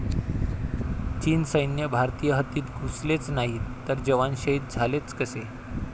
चीन सैन्य भारतीय हद्दीत घुसलेच नाही तर जवान शहीद झालेच कसे?